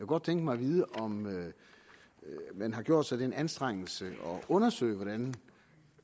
godt tænke mig at vide om man har gjort sig den anstrengelse at undersøge hvordan